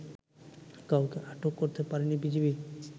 কাউকে আটক করতে পারেনি বিজিবি